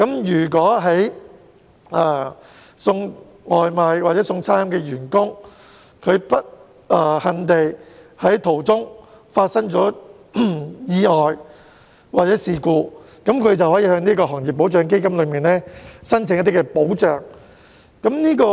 如果送外賣的員工不幸地在外送途中發生意外或事故，便可向這個行業保障基金申請一些保障。